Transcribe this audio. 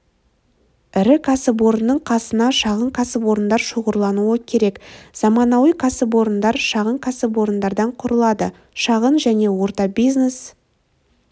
ірі кәсіпорынның қасына шағын кәсіпорындар шоғырлануы керек заманауи кәсіпорындар шағын кәсіпорындардан құрылады шағын және орта бизнес